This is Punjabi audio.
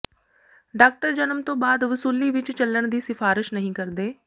ਡਾਕਟਰ ਜਨਮ ਤੋਂ ਬਾਅਦ ਵਸੂਲੀ ਵਿੱਚ ਚੱਲਣ ਦੀ ਸਿਫਾਰਸ਼ ਨਹੀਂ ਕਰਦੇ